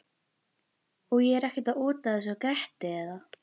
Og ég er ekkert að ota þessu að Gretti eða